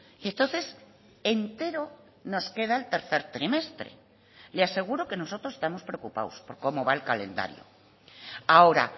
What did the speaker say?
y entonces entero nos queda el tercer trimestre le aseguro que nosotros estamos preocupados por cómo va el calendario ahora